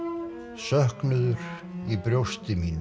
söknuður í brjósti mínu